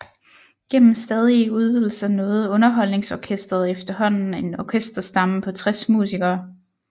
Gennem stadige udvidelser nåede Underholdningsorkestret efterhånden en orkesterstamme på 60 musikere